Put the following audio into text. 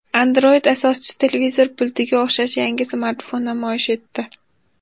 Android asoschisi televizor pultiga o‘xshash yangi smartfon namoyish etdi .